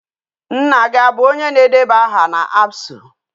Nna gi abu onye na-edeba aha na ABSU?